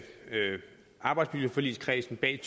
arbejdsmiljøforligskredsen bag